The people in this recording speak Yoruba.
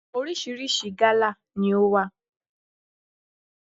Orísìírísìí gálà ni ó wà.